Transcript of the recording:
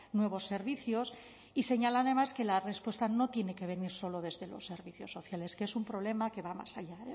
nuevos servicios y señala además que la respuesta no tiene que venir solo desde los servicios sociales que es un problema que va más allá